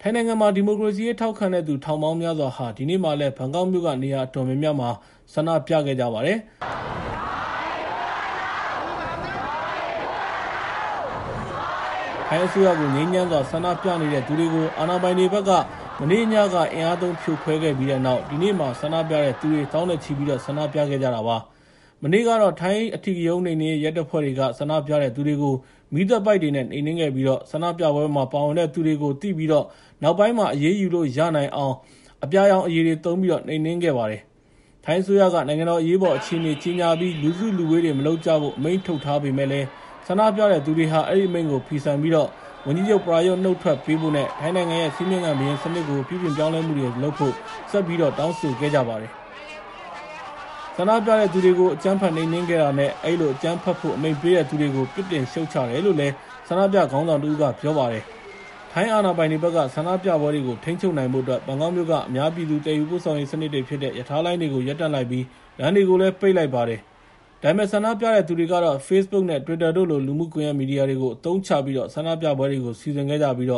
ထိုင်းနိုင်ငံမှာ ဒီမိုကရေစီရေး ထောက်ခံတဲ့သူ ထောင်ပေါင်းများစွာဟာ ဒီနေ့မှာလည်း ဘန်ကောက်မြို့ နေရာအတော်များများမှာ ဆန္ဒပြခဲ့ကြပါတယ်။ ထိုင်းအစိုးရကို ငြိမ်းချမ်းစွာ ဆန္ဒပြနေတဲ့သူတွေကို အာဏာပိုင်တွေဘက်က မနေ့ညက အင်အားသုံး ဖြိုခွဲခဲ့ပြီးတဲ့နောက် ဒီနေ့မှာ ဆန္ဒပြတဲ့သူတွေ သောင်းနဲ့ချီပြီး ဆန္ဒပြခဲ့ကြတာပါ။ မနေ့ကတော့ ထိုင်းအဓိကရုဏ်းနှိမ်နင်းရေး ရဲတွေက ဆန္ဒပြတဲ့သူတွေကို မီးသတ်ပိုက်တွေနဲ့ နှိမ်နင်းခဲ့ပြီး ဆန္ဒပြပွဲမှာ ပါဝင်တဲ့သူတွေကို သိပြီးတော့ နောက်ပိုင်းမှာ အရေးယူနိုင်အောင် အပြာရောင်အရည်တွေသုံးပြီး နှိမ်နင်းခဲ့တာပါ။ ထိုင်းအစိုးရက နိုင်ငံတော် အရေးပေါ်အခြေအနေ ကြေညာပြီး လူစုလူဝေးတွေ မလုပ်ကြဖို့ အမိန့်ထုတ်ထားပေမယ့်လည်း ဆန္ဒပြတဲ့သူတွေဟာ အဲဒီအမိန့်ကို ဖီဆန်ပြီး ဝန်ကြီးချုပ် ပရာယွတ် နုတ်ထွက်ပေးဖို့နဲ့ ထိုင်းနိုင်ငံရဲ့ စည်းမျဉ်းခံဘုရင်စနစ်ကို ပြုပြင်ပြောင်းလဲမှုတွေ လုပ်ဖို့ ဆက်လက်တောင်းဆိုနေကြတာပါ။ "ဆန္ဒပြတဲ့သူတွေကို အကြမ်းဖက်နှိမ်နင်းခဲ့တာနဲ့ အဲဒီလို အကြမ်းဖက်ဖို့အတွက် အမိန့်ပေးတဲ့သူတွေကို ပြစ်တင်ရှုတ်ချတယ်" လို့ ဆန္ဒပြခေါင်းဆောင်တဦးက ပြောပါတယ်။ ထိုင်းအာဏာပိုင်တွေဘက်က ဆန္ဒပြပွဲတွေကို ထိန်းချုပ်နိုင်ဖို့အတွက် ဘန်ကောက်မြို့က အများပြည်သူ ပို့ဆောင်ရေးစနစ်တွေဖြစ်တဲ့ ရထားလိုင်းတွေ ရပ်တန့်လိုက်ပြီး လမ်းတွေကိုလည်း ပိတ်လိုက်ပါတယ်။ ဒါပေမယ့် ဆန္ဒပြတဲ့သူတွေကတော့ Facebook နဲ့ Twitter တို့လို လူမှုကွန်ရက် မီဒီယာတွေကို အသုံးပြုပြီး ဆန္ဒပြပွဲတွေကို စီစဉ်ခဲ့ကြပြီး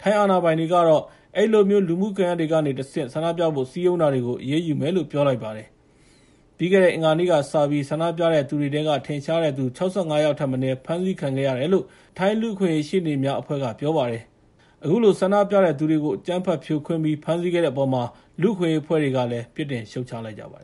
ထိုင်းအာဏာပိုင်တွေကတော့ အဲဒီလိုမျိုး လူမှုကွန်ရက်တွေကနေတဆင့် ဆန္ဒပြဖို့ စည်းရုံးနေတာတွေကို အရေးယူသွားမယ်လို့ ပြောပါတယ်။ ပြီးခဲ့တဲ့ အင်္ဂါနေ့ကစပြီး ဆန္ဒပြတဲ့သူတွေထဲက ထင်ရှားတဲ့သူ ၆၅ ယောက်ထက်မနည်း အဖမ်းခံခဲ့ရတယ်လို့ ထိုင်းလူ့အခွင့်အရေး ရှေ့နေများအဖွဲ့က ပြောပါတယ်။ အခုလို ဆန္ဒပြတဲ့သူတွေကို အကြမ်းဖက်ဖြိုခွင်းပြီး ဖမ်းဆီးခဲ့တဲ့အပေါ်မှာ လူ့အခွင့်အရေး အဖွဲ့တွေကလည်း ပြစ်တင်ရှုတ်ချလိုက်ပါတယ်